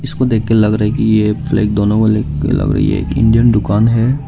उसको देख के लग रहा है कि यह फ्लैग दोनों वाले लग रही है इंडियन दुकान है।